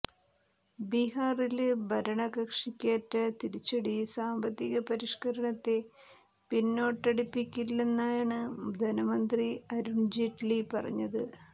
ബീഹാറില് ഭരണകക്ഷിക്കേറ്റ തിരിച്ചടി സാമ്പത്തിക പരിഷ്കരണത്തെ പിന്നോട്ടടിപ്പിക്കില്ലെന്നാണ് ധനമന്ത്രി അരുണ് ജെയ്റ്റ്ലി പറഞ്ഞത്